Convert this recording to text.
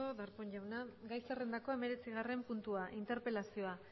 darpón jauna gai zerrendako hemeretzigarren puntua interpelazioa